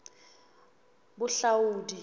bohlaudi